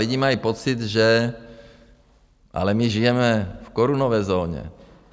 Lidi mají pocit, že - ale my žijeme v korunové zóně.